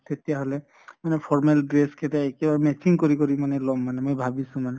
তেতিয়াহʼলে মানে formal dress কেইটা মানে এতিয়া matching কৰি কৰি মানে লʼম মানে মই ভাবিছো মানে ।